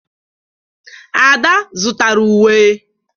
Ada zụtara uwe.